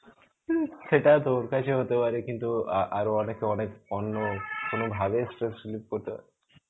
সেটা তোর কাছে হতে পারে. কিন্তু আ~ আরো অনেকে অনেক অন্য কোনো ভাবে stress relieve করতে পারে.